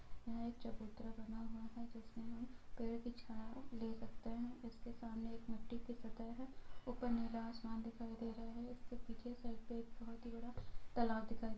यहाँ एक चबूतरा बना हुआ है जिसमे हम पेड़ की छाऊ ले सकते हैं जिसके सामने एक मट्टी की सतेह है| ऊपर नीला आसमान दिखाई दे रहा है| इसके पीछे सड़क पे एक बहोत ही बड़ा तालाब दिखाई --